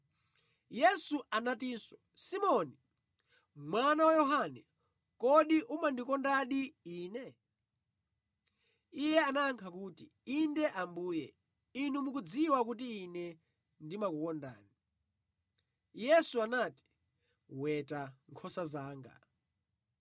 Yesu anatinso, “Simoni, mwana wa Yohane, kodi umandikondadi Ine?” Iye anayankha kuti, “Inde, Ambuye, Inu mukudziwa kuti ine ndimakukondani.” Yesu anati, “Weta nkhosa zanga.”